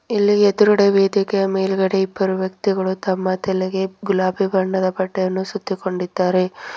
ಇಲ್ಲಿ ಎದ್ರುಗಡೆ ವೇದಿಕೆಯ ಮೇಲ್ಗಡೆ ಇಬ್ಬರು ವ್ಯಕ್ತಿಗಳು ತಮ್ಮ ತಲೆಗೆ ಗುಲಾಬಿ ಬಣ್ಣದ ಬಟ್ಟೆಯನ್ನು ಸುತ್ತಿಕೊಂಡಿದ್ದಾರೆ.